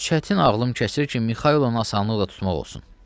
Çətin ağlım kəsir ki, Mixaylovu asanlıqla tutmaq olsun.